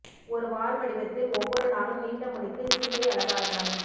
ஒரு வால் வடிவத்தில் ஒவ்வொரு நாளும் நீண்ட முடிக்கு சிகை அலங்காரங்கள்